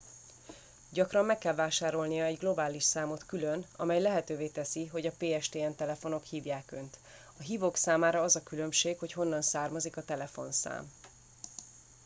gyakran meg kell vásárolnia egy globális számot külön amely lehetővé teszi hogy a pstn telefonok hívják önt a hívók számára az a különbség hogy honnan származik a telefonszám